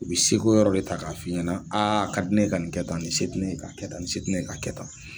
U bɛ seko yɔrɔ de ta k'a f'i ɲɛna a ka di ne ye ka nin kɛ tan ni se ti ne ye ka kɛ tan ni se ti ne ye ka kɛ tan.